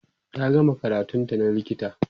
ta gama karatun ta na likita